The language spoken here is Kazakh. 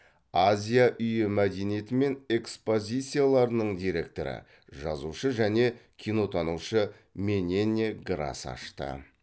азия үйі мәдениеті мен экспозицияларының директоры жазушы және кинотанушы менене грас ашты